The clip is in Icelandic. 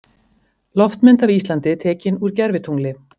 Loftmynd af Íslandi tekin úr gervitungli.